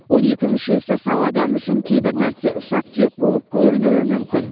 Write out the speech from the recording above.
он екі мүшесі сау адам үшін кейбір нәрсе ұсақ түйек болып көрінуі мүмкін